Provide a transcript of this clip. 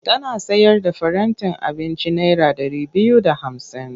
Tana sayar da farantin abinci naira ɗari biyu da hamsin.